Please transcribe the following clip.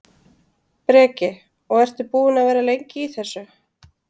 Breki: Og ertu búinn að vera lengi í þessu?